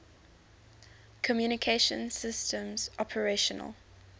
communication systems operational